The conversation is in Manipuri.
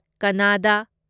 ꯀꯟꯅꯥꯗꯥ